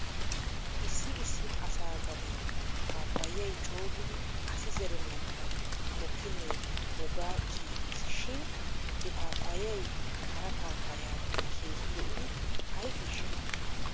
Issi issi asaa gaden paappayay coogidi asi zerennankka mokkinne wogaa kiyiiges shin he paapayay hara paapayayiyaadan keehi lo'idi ayfiishsha ?